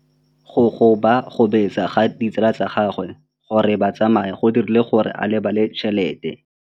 Go gobagobetsa ga ditsala tsa gagwe, gore ba tsamaye go dirile gore a lebale tšhelete.